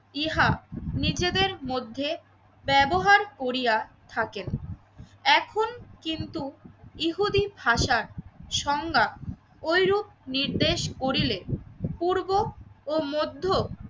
ইহা নিজেদের মধ্যে ব্যবহার করিয়া থাকেন। এখন কিন্তু ইহুদী ভাষার সংজ্ঞা ওইরূপ নির্দেশ করিলে পূর্ব ও মধ্য